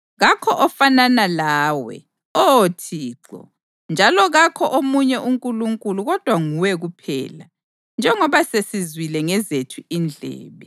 Kakho ofanana lawe, Oh Thixo, njalo kakho omunye uNkulunkulu kodwa nguwe kuphela, njengoba sesizwile ngezethu indlebe.